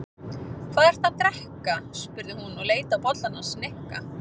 Hvað ertu að drekka? spurði hún og leit á bollann hans Nikka.